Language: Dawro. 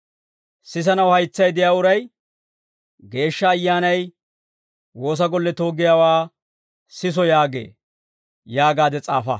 Sisanaw haytsay de'iyaa uray Geeshsha Ayyaanay woosa golletoo giyaawaa siso yaagee» yaagaade s'aafa.